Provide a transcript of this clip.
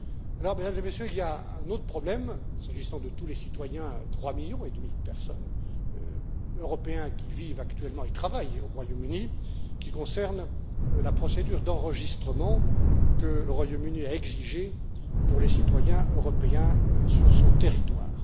Alors, Mesdames et Messieurs, il y a un autre problème s'agissant de tous les citoyens européens 3 millions et demi de personnes qui vivent actuellement et travaillent au Royaume Uni, qui concerne la procédure d'enregistrement que le Royaume Uni a exigée pour les citoyens européens sur son territoire.